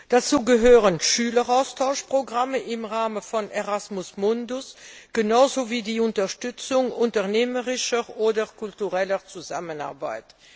Dazu gehören Schüleraustauschprogramme im Rahmen von Erasmus Mundus genauso wie die Unterstützung unternehmerischer oder kultureller Zusammenarbeit.